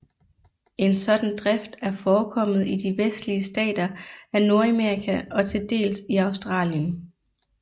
En sådan drift er forekommet i de vestlige stater af Nordamerika og til dels i Australien